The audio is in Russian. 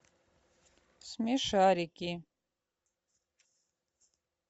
смешарики